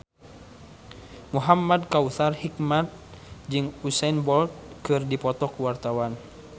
Muhamad Kautsar Hikmat jeung Usain Bolt keur dipoto ku wartawan